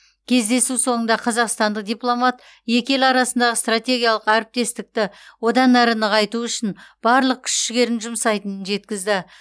кездесу соңында қазақстандық дипломат екі ел арасындағы стратегиялық әріптестікті одан әрі нығайту үшін барлық күш жігерін жұмсайтынын жеткізді